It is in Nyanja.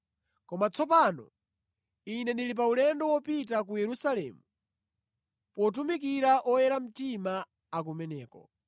Koma tsopano, ine ndili pa ulendo wopita ku Yerusalemu potumikira oyera mtima akumeneko.